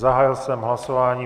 Zahájil jsem hlasování.